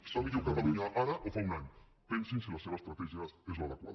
està millor catalunya ara o fa un any pensin si la seva estratègia és l’adequada